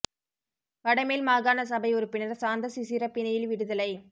வட மேல் மாகாண சபை உறுப்பினர் சாந்த சிசிற பிணையில் விடுதலை